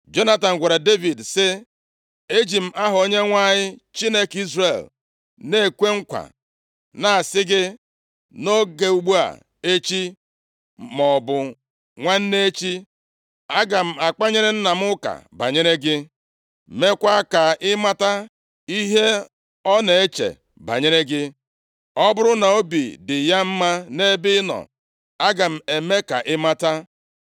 Jonatan gwara Devid sị, “Eji m aha Onyenwe anyị, Chineke Izrel na-ekwe nkwa na-asị gị, nʼoge ugbu a echi, maọbụ nwanne echi, aga m akpanyere nna m ụka banyere gị, meekwa ka ị mata ihe ọ na-eche banyere gị. Ọ bụrụ na obi dị ya mma nʼebe ị nọ, aga m eme ka ị mata.